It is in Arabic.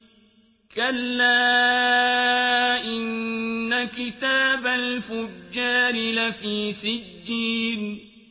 كَلَّا إِنَّ كِتَابَ الْفُجَّارِ لَفِي سِجِّينٍ